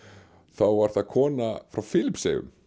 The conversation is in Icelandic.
þá var það kona frá